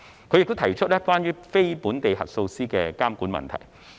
他亦提出了有關非本地核數師的監管問題。